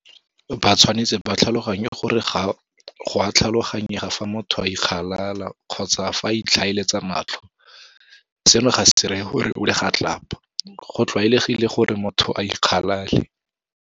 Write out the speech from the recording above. Batshwanetse ba tlhaloganye gore go a tlhaloganyega fa motho a ikgalala kgotsa fa a itlhaeletsa matlho. Seno ga se ree gore o legatlapa. Go tlwaelegile gore motho a ikgalale.